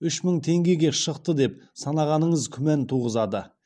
үш мың теңгеге шықты деп санағаныңыз күмән туғызады